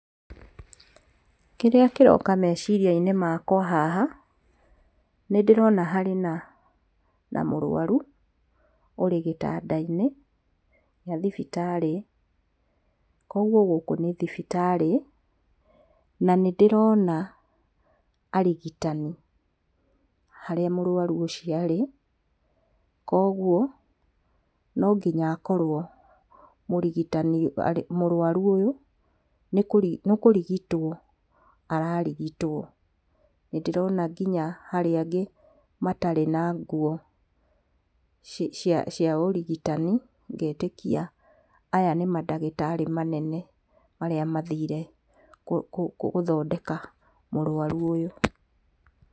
Kĩrĩa kĩrooka meciria-inĩ makwa haha, nĩndĩrona harĩ na mũruaru ũrĩ gĩtanda-inĩ gĩa thibitarĩ, kwoguo gũkũ nĩ thibitarĩ, na nĩndĩrona arigitani harĩa mũruaru ũcio arĩ, kwoguo no nginya akorwo mũrũaru ũyũ nĩ kũrigitwo ararigitwo, nĩndĩrona nginya harĩ angĩ matarĩ na nguo cia ũrigitani ngetĩkia aya nĩ mandagĩtarĩ manene marĩa mathiire gũthondeka mũrwaru ũyũ.